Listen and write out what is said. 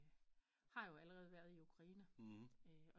Har jo allerede været i Ukraine